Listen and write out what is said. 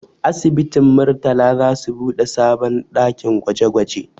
Asibitin Murtala za su buɗe sabon ɗakin gwaje gwaje